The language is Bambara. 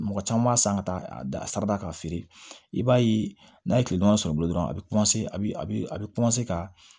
Mɔgɔ caman m'a san ka taa a sara k'a feere i b'a ye n'a ye kile dama sɔrɔ bilen dɔrɔn a bi a bi a be ka